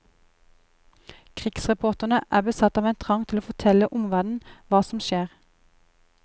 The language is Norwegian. Krigsreporterne er besatt av en trang til å fortelle omverdenen hva som skjer.